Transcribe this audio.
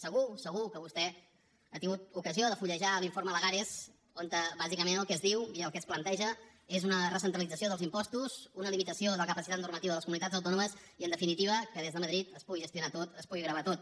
segur que vostè ha tingut ocasió de fullejar l’informe lagares on bàsicament el que es diu i el que es planteja és una recentralització dels impostos una limitació de la capacitat normativa de les comunitats autònomes i en definitiva que des de madrid es pugui gestionar tot es pugui gravar tot